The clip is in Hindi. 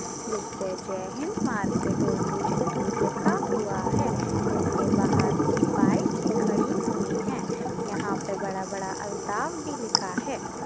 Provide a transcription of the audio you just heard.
जिस पर जय हिंद मार्केट उर्दू चित्तुर लिखा हुआ है जिसके बाहर कुछ बाइक भी खड़ी हुई है यहाँ पे बड़ा-बड़ा अलताब भी लिखा है